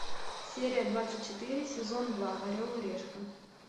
серия двадцать четыре сезон два орел и решка